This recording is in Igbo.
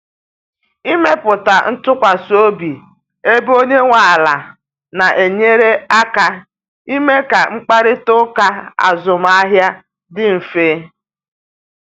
Ịmepụta ntụkwasị obi ebe onye nwe ala na enyere aka ime ka mkparịta ụka azụmahịa dị mfe